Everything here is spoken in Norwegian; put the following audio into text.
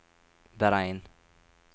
beregn